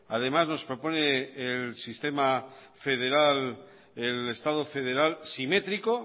además nos propone el sistema federal el estado federal simétrico